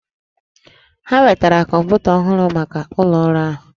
Ha wetara kọmpụta ọhụrụ maka ụlọ ọrụ ahụ